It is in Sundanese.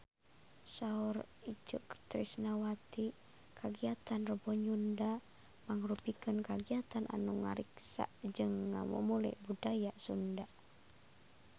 Saur Itje Tresnawati kagiatan Rebo Nyunda mangrupikeun kagiatan anu ngariksa jeung ngamumule budaya Sunda